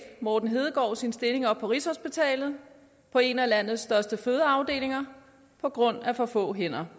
morten hedegaard sin stilling op på rigshospitalet på en af landets største fødeafdelinger på grund af for få hænder